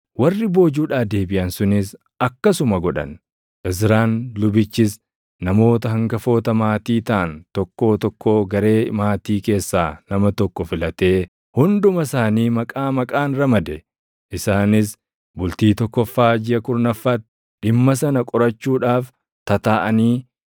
Warri boojuudhaa deebiʼan sunis akkasuma godhan. Izraan lubichis namoota hangafoota maatii taʼan tokkoo tokkoo garee maatii keessaa nama tokko filatee hunduma isaanii maqaa maqaan ramade. Isaanis bultii tokkoffaa jiʼa kurnaffaatti dhimma sana qorachuudhaaf tataaʼanii